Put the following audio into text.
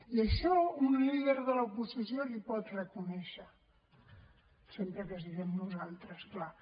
i això un líder de l’oposició l’hi pot reconèixer sempre que siguem nosaltres clar